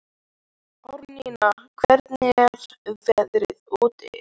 Árnína, hvernig er veðrið úti?